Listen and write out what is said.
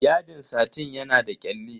Yadin satin yana da kyalli.